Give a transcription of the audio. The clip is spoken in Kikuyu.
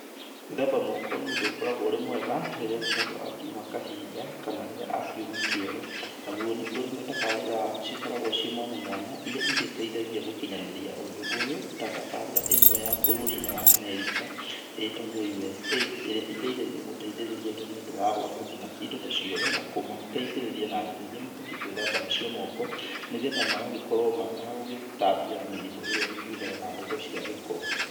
Gwĩthamba moko nĩ ũndũ ũkoragwo ũrĩ mwega rĩrĩa mũndũ akiuma kahinda kana rĩrĩa akiuma kĩoro. Naguo ni kũrĩ na tabarĩra cikogarwo ciĩ mwanya mwanya ĩria ĩgĩteithagĩa gũkinyanĩria ũndũ ũyũ ta tabarĩra ĩmwe ya bũrũrinĩ wa America ĩtagwo USAID ĩrĩa ĩteithagĩa gũteitherĩrĩa andũ nĩ undũ wa gũaka indo ta cioro na kũmateithĩrĩrĩa na njĩra ĩrĩa mabatíĩ gũĩthamba nacio moko, nĩgetha magagĩkorwo mategũtambia mĩrĩmũ ĩrĩa ĩngiumana na ndeto cia gĩko